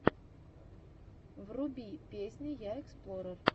вруби песни я эксплорер